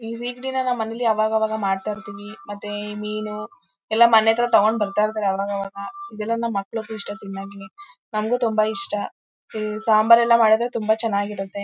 ಈ weekday ನಾವ್ ಮನೇಲಿ ಆವಾಗಾವಾಗ ಮಾಡ್ತಾ ಇರ್ತಿವಿ ಮತ್ತೆ ಮೀನು ಎಲ್ಲಾ ಮನೆ ಹತ್ರ ತಗೊಂಡ್ ಬರ್ತಾ ಇರ್ತರೆ ಆವಾಗಾವಾಗ ಇದೆಲ್ಲ ನಮ್ ಮಕ್ಕಳಿಗೂ ಇಷ್ಟ ತಿನ್ನೋಕೆ ನಮಗೂ ತುಂಬಾ ಇಷ್ಟ ಈ ಸಾಂಬಾರ್ ಎಲ್ಲಾ ಮಾಡಿದ್ರೆ ತುಂಬಾ ಚೆನ್ನಾಗಿರುತ್ತೆ.